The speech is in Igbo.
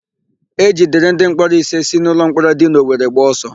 E jidere ndịmkpọrọ ise siri n'ụlọmkpọrọ dị n'Owere gbaa ọsọ